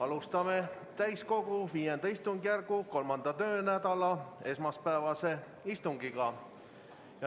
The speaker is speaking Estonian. Alustame täiskogu V istungjärgu 3. töönädala esmaspäevast istungit.